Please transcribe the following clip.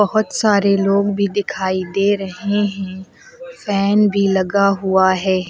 बहुत सारे लोग भी दिखाई दे रहे हैं फैन भी लगा हुआ है।